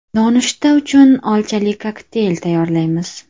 Nonushta uchun olchali kokteyl tayyorlaymiz.